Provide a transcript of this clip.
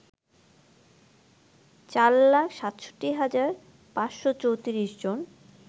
৪ লাখ ৬৭ হাজার ৫৩৪ জন